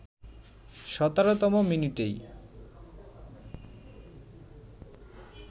১৭তম মিনিটেই